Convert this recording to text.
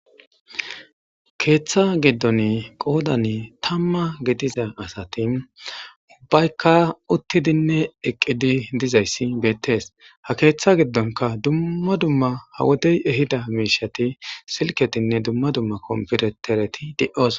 "Keetha giddon qoodan tamma gidiza asati ubbayikka uttidinne eqqidi dizaysi betees, Ha keetha giddonkka dumma dumma ha wodey ehida miisheti silketinne dumma dumma compitereti de7osona."